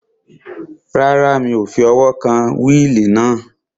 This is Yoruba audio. Rárá, mi ò fi ọwọ́ kan wíìlì náà